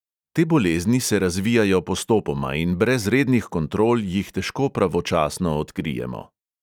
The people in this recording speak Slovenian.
Te bolezni se razvijajo postopoma in brez rednih kontrol jih težko pravočasno odkrijemo.